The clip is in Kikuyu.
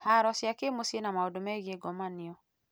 Haro cia kĩmũciĩ na maũndũ megiĩ ngomanio